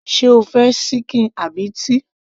sé o fẹ́ ṣíkìn àbí ti